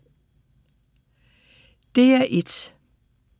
DR1